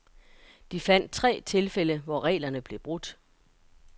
De fandt tre tilfælde, hvor reglerne blev brudt.